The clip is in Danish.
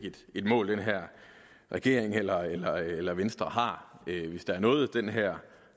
et mål den her regering eller eller venstre har hvis der er noget den her